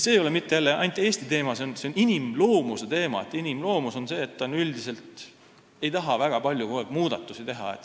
See ei ole aga ainult Eesti teema, vaid lihtsalt inimloomus on selline, et üldiselt ei taheta kogu aeg väga palju muudatusi teha.